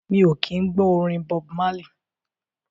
Mi o kí ń gbọ́ orin Bob Marley.